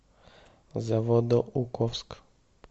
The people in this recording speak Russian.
заводоуковск